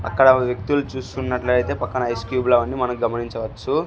అక్కడ వ్యక్తులు చూస్తున్నట్లయితే పక్కన ఐస్ క్యూబ్ లా ఉంది మనం గమనించవచ్చు.